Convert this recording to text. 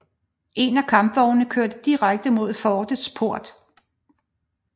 En af kampvognene kørte direkte mod fortets port